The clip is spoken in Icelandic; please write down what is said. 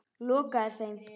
Lokaði þeim.